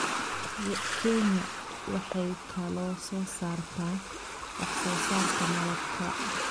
Kenya waxay kaloo soo saartaa wax soo saarka malabka.